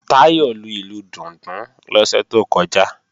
Táyọ̀ lu ìlù dùndún lọ́sẹ̀ tó kọjá